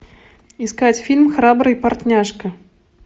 искать фильм храбрый портняжка